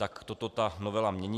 Tak toto ta novela mění.